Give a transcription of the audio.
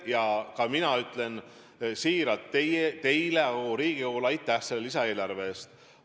Seepärast ma ütlen siiralt teile ja kogu Riigikogule aitäh selle lisaeelarve eest.